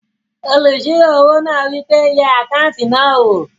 Olùsirò owó náà wí pé "yẹ àkáùntì náà wò!"